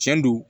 Tiɲɛ don